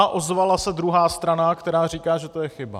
A ozvala se druhá strana, která říká, že to je chyba.